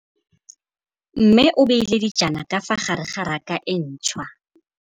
Mmê o beile dijana ka fa gare ga raka e ntšha.